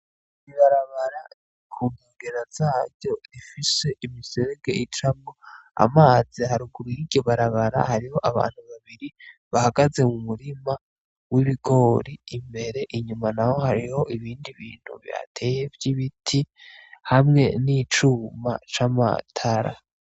IBibarabara ku gigera zaryo rifise imiserege icamwo amazi haruguru yiryo barabara hariho abantu babiri bahagaze mu murima w'ibigori imbere inyuma na ho hariho ibindi bintu bihateye vy' ibiti hamwe n'icuma c'amatara.